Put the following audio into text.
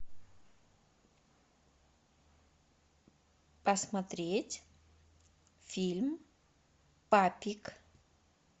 посмотреть фильм папик